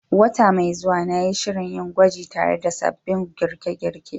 Wata mai zuwa, na yi shirin yin gwaji tare da sabbin girke-girke